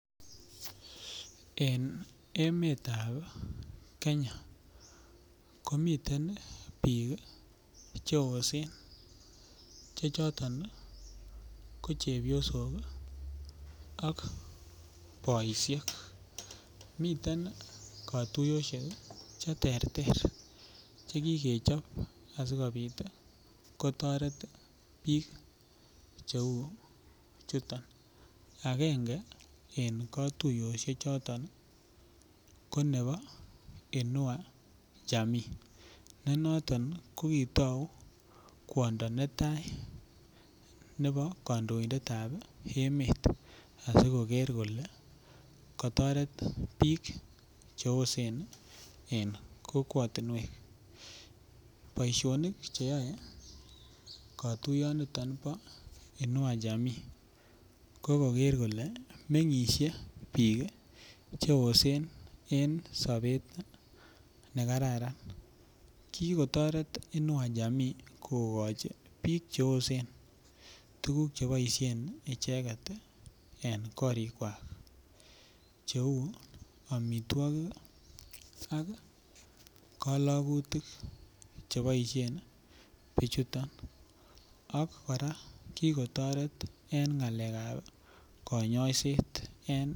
En emetab Kenya komiten bik Che yosen Che choton ko chebyosok ak boisyek miten kotuyosyek Che terter Che ki kechob asi kobit kotoret bik cheu chuton agenge en kotuyosiechuto ko nebo inua jamii ne noton ko kitou kwondo netai nebo kandoindet ab emet asikobit koger kole kotoret bik Che yosen en kokwatinwek boisionik Che yae kotuyonito bo inua jamii ko koger kole mengisie bik Che yosen en sobet ne kararan ki ki kotoret inua jamii kogochi bik Che yosen tuguk Che boisien icheget en korikwak cheu amitwogik ak kalagutik Che boisye bichuto ak kora ki kotoret en ngalekab kanyoiset